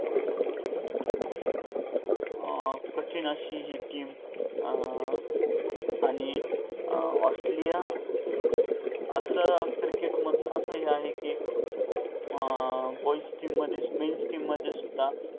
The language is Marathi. अं कठीण अशी हि team अं आणि ऑस्ट्रेलिया अस क्रिकेटमधले अस आहे कि अं boys team मध्ये men team मध्ये सुद्धा